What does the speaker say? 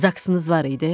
Zaksınız var idi?